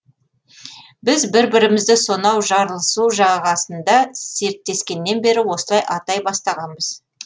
біз бір бірімізді сонау жарлысу жағасында серттескеннен бері осылай атай бастағанбыз